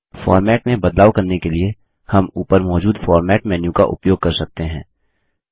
format में बदलाव करने के लिए हम ऊपर मौजूद फॉर्मेट मेन्यू का उपयोग कर सकते हैं